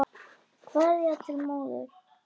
Kveðja til móður.